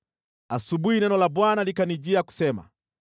Asubuhi neno la Bwana likanijia kusema: